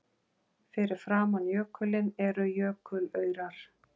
Fyrir framan jökulinn eru jökulaurar.